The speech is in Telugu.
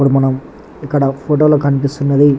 ఇక్క్కడ మనం ఇక్క్కడ ఫోటి లో కనిపిస్తునది.